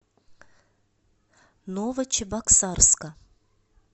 новочебоксарска